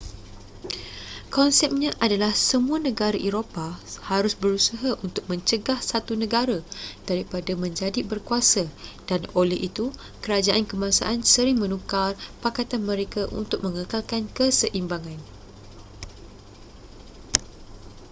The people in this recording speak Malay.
konsepnya adalah semua negara eropah harus berusaha untuk mencegah satu negara daripada menjadi berkuasa dan oleh itu kerajaan kebangsaan sering menukar pakatan mereka untuk mengekalkan keseimbangan